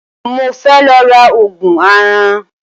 Mo fẹ́ lọ ra Ògùn aràn